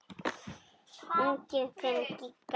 Unginn þinn, Gígja Hlín.